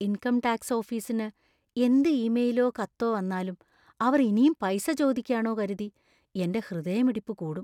Income tax ഓഫീസിന്ന് എന്ത് ഇമെയിലോ കത്തോ വന്നാലും, അവർ ഇനീം പൈസ ചോദിക്ക്യാണോ കരുതി എന്‍റെ ഹൃദയമിടിപ്പ് കൂടും.